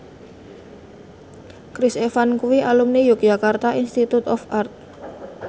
Chris Evans kuwi alumni Yogyakarta Institute of Art